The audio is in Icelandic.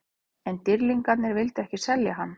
En Dýrlingarnir vildu ekki selja hann.